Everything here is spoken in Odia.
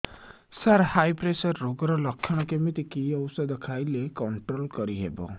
ସାର ହାଇ ପ୍ରେସର ରୋଗର ଲଖଣ କେମିତି କି ଓଷଧ ଖାଇଲେ କଂଟ୍ରୋଲ କରିହେବ